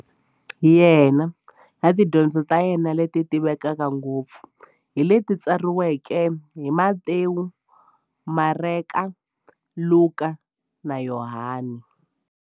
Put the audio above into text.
Yena na tidyondzo ta yena, leti tivekaka ngopfu hi leti tsariweke hi-Matewu, Mareka, Luka, na Yohani.